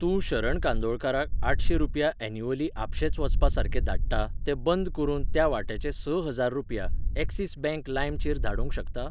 तूं शरण कांदोळकाराक आठशें रुपया एन्युअली आपशेच वचपा सारखे धाडटा ते बंद करून त्या वाट्याचें स हजार रुपया, एक्सिस बँक लाइम चेर धाडूंक शकता?